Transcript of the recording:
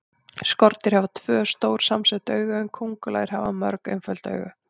Skordýr hafa tvö, stór samsett augu en kóngulær hafa mörg, einföld augu.